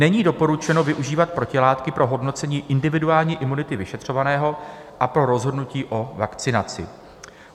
Není doporučeno využívat protilátky pro hodnocení individuální imunity vyšetřovaného a pro rozhodnutí o vakcinaci.